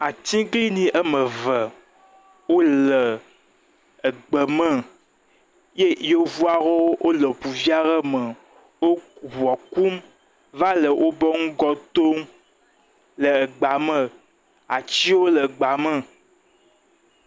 atiglinyi wɔmeve wóle gbe me ye yevuawo wòle ʋu viaɖe me wó buɔ kum vale wobe ŋgɔ tom le gba me atsiwo le gba me